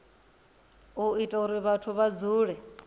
ita uri vhathu vha dzule